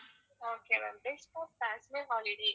okay ma'am holiday